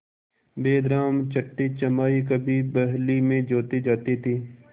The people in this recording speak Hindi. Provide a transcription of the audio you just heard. बैलराम छठेछमाहे कभी बहली में जोते जाते थे